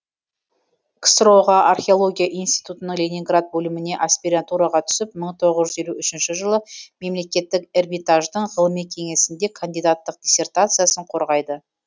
ксро ға археология институтының ленинград бөліміне аспирантураға түсіп мың тоғыз жүз елу үшінші жылы мемлекеттік эрмитаждың ғылыми кеңесінде кандидаттық диссертациясын қорғайды